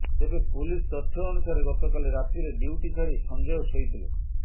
ତେବେ ପୋଲିସ ତଥ୍ୟ ଅନୁସାରେ ଗତକାଲି ରାତିରେ ଡ୍ୟୁଟି ସାରି ସଞ୍ଜୟ ଶୋଇଥିଲେ